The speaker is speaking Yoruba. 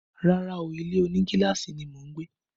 Rárá o, ilé òní gíláàsì ni mo ń gbé